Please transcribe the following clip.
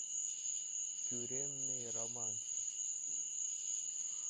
тюремный романс